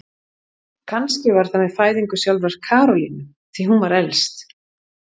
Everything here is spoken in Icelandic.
Kannski var það með fæðingu sjálfrar Karolínu, því hún var elst.